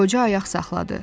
Qoca ayaq saxladı.